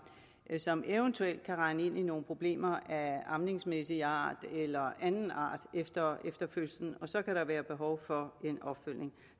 som eventuelt kan rende ind i nogle problemer af amningsmæssig art eller anden art efter fødslen så kan der være behov for en opfølgning